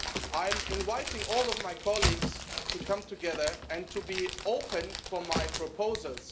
I invite all my colleagues to come together and to be open to my proposals.